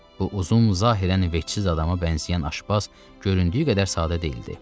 Bu uzun zahirən vecsiz adama bənzəyən aşbaz göründüyü qədər sadə deyildi.